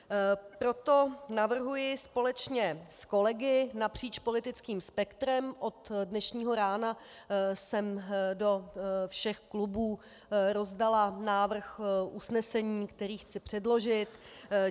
Proto navrhuji společně s kolegy napříč politickým spektrem - od dnešního rána jsem do všech klubů rozdala návrh usnesení, který chci předložit.